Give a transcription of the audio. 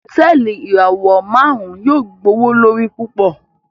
Hotẹẹli ìràwọ márùn yóò gbowolori púpọ